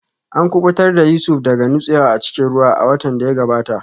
An kubutar da Yusuf daga nutsewa a cikin ruwa a watan da ya gabata